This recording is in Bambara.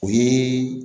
O ye